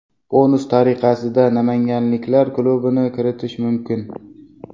Bonus tariqasida namanganliklar klubini kiritish mumkin.